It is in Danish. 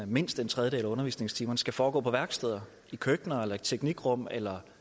mindst en tredjedel af undervisningstimerne skal foregå på værksteder i køkkener i teknikrum eller